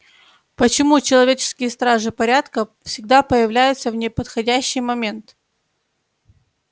почему человеческие стражи порядка всегда появляются в неподходящий момент